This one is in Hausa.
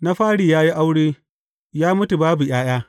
Na fari ya yi aure, ya mutu babu ’ya’ya.